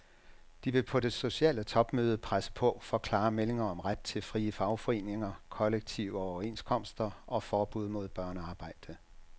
De vil på det sociale topmøde presse på for klare meldinger om ret til frie fagforeninger, kollektive overenskomster og forbud mod børnearbejde.